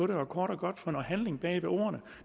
det og kort og godt få noget handling bag ordene